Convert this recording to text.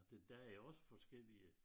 Der der jo også forskellige